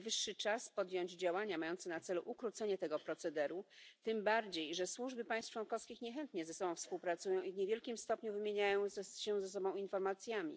Najwyższy czas podjąć działania mające na celu ukrócenie tego procederu, tym bardziej że służby państw członkowskich niechętnie ze sobą współpracują i w niewielkim stopniu wymieniają się informacjami.